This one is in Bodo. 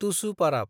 तुसु पाराब